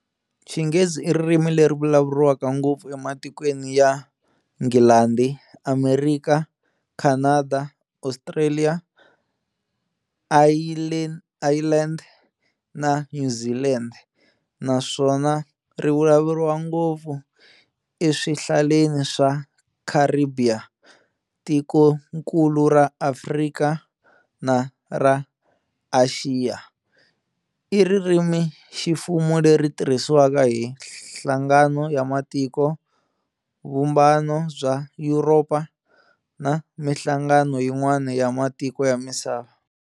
Xinghezi iririmi leri vulavuriwaka ngopfu ematikweni ya Nghilandi, Amerikha, Khanada, Ostraliya, Ayilendi na Nyuzilendi, naswona rivulavuriwa ngopfu eswihlaleni swa Kharibhiya, tikonkulu ra Afrika na ra Axiya. iririmiximfumo leri tirhisiwaka hi Nhlangano ya Matiko, Vumbano bya Yuropa na minhlangano yin'wana ya matiko ya misava.